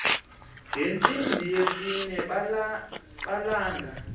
ngentsimbi yesine malanga